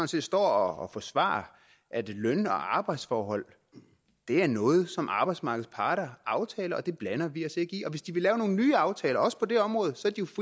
set står og forsvarer at løn og arbejdsforhold er noget som arbejdsmarkedets parter aftaler det blander vi os ikke i og hvis de vil lave nogle nye aftaler også på det område